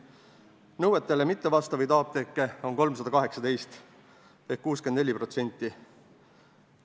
Nõuetele mittevastavaid apteeke on 318 ehk 64%.